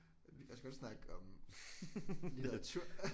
Jeg skal også godt snakke om litteratur